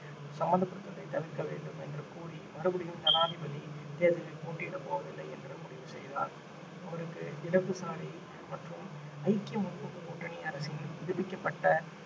சம்பந்தப்படுவதை தவிர்க்க வேண்டும் என்று கூறி மறுபடியும் ஜனாதிபதி தேர்தலில் போட்டியிடப் போவதில்லை என்று முடிவு செய்தார் அவருக்கு இடது சாரி மற்றும் ஐக்கிய முற்போக்கு கூட்டணி அரசின் புதுப்பிக்கப்பட்ட